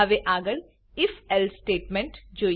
હવે આગળ if else statement જોઈએ